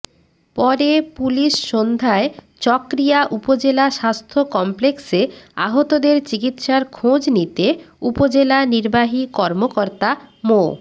পরে পুলিশ সন্ধ্যায় চকরিয়া উপজেলা স্বাস্থ্য কমপ্লেক্সে আহতদের চিকিৎসার খোঁজ নিতে উপজেলা নির্বাহী কর্মকর্তা মো